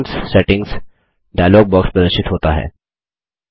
accounts settings dialog box प्रदर्शित होता है